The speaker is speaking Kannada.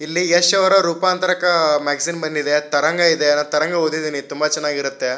ಇಲ್ಲಿ ಯಶ್ ರವರ ರೂಪಾಂತರಕಾ ಮ್ಯಾಗಜಿನ್ ತರಂಗ ಇದೆ ತರಂಗ ಓದಿದೀನಿ ತುಂಬಾ ಚೆನ್ನಾಗಿರತ್ತೆ.